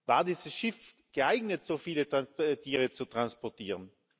War dieses Schiff geeignet, so viele Tiere zu transportieren?